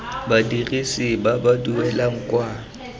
badirisi ba ba duelang kwa